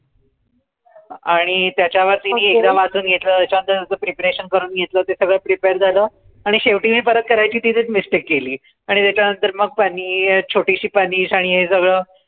आणि त्याच्या वर चुन घेतलं त्याच्या नंतर त्याच preparation करून घेतलं ते सगळं prepare झालं आणि शेवटी मी परत करायची तिथेच mistake केली आणि त्याच्या नंतर मग punish छोटीशी punish आणि हे सगळं